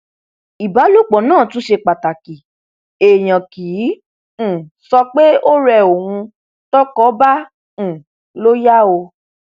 ìbálòpọ náà tún ṣe pàtàkì èèyàn kì í um sọ pé ó rẹ òun tọkọ bá um lọ yá o